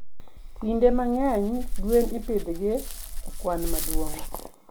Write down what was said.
Kinde mang'eny, gwen ipidhgi e kwan maduong'.